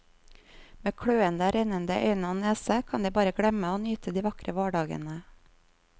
Med kløende, rennende øyne og nese kan de bare glemme å nyte de vakre vårdagene.